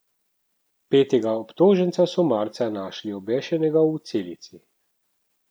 Petega obtoženca so marca našli obešenega v celici.